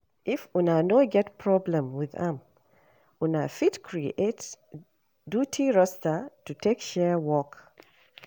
If una no get problem with am, una fit create duty roster to take share work